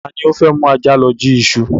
Ta ni o fẹ́ mú ajá lọ jí iṣu?